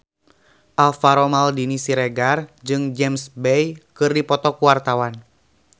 Alvaro Maldini Siregar jeung James Bay keur dipoto ku wartawan